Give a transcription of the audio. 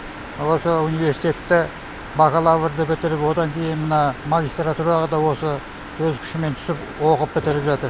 осы университетті бакалаврды бітіріп одан кейін мына магистратураға да осы өз күшімен түсіп оқып бітіріп жатыр